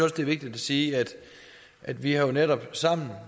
at det er vigtigt at sige at vi jo netop sammen